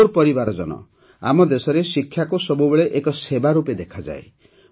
ମୋର ପରିବାରଜନ ଆମ ଦେଶରେ ଶିକ୍ଷାକୁ ସବୁବେଳେ ଏକ ସେବା ରୂପେ ଦେଖାଯାଏ